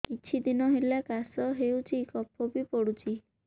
କିଛି ଦିନହେଲା କାଶ ହେଉଛି କଫ ବି ପଡୁଛି